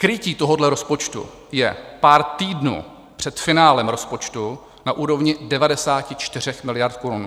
Krytí tohoto rozpočtu je pár týdnů před finále rozpočtu na úrovni 94 miliard korun.